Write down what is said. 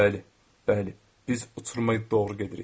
Bəli, bəli, biz uçuruma doğru gedirik.